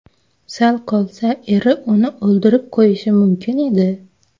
Sal qolsa eri uni o‘ldirib qo‘yishi mumkin edi.